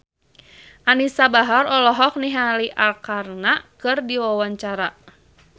Anisa Bahar olohok ningali Arkarna keur diwawancara